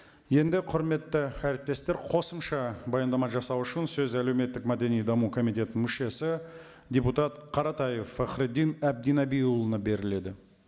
енді құрметті әріптестер қосымша баяндама жасау үшін сөз әлеуметтік мәдени даму комитетінің мүшесі депутат қаратаев фахриддин әбдінабиұлына беріледі